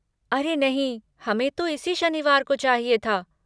अरे नहीं, हमें तो इसी शनिवार को चाहिए था।